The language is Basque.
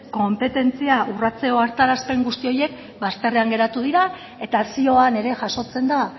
konpetentzia urratze ohartarazpen guzti horiek bazterrean geratu dira eta zioan ere jasotzen da